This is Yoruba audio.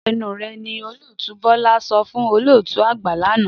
Dákẹ́ ẹnu rẹ̀! Ní Olótùú Bọ́lá sọ fún olótùú àgbà lánàá.